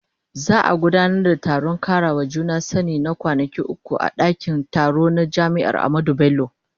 Za a gudanar da taron karawa juna sani na kwanaki uku a dakin taro na jami'ar Ahmadu Bello.